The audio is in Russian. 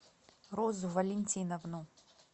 розу валентиновну